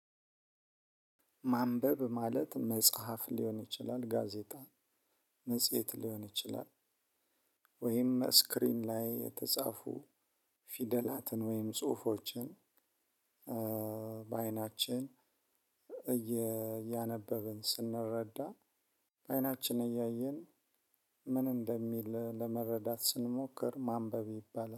ማንበብ ማለት መጽሐፍ ሊሆን ይችላል ጋዜጣ መጽሔት ሊሆን ይችላል ወይም ስክሪን ላይ የተጻፉ ፊደላትን ወይም ጽሁፎችን በአይናችን እየ እያነበብን ስንረዳ በአይናችን እያየን ምን እንደሚል ለመረዳት ስንሞክር ማንበብ ይባላል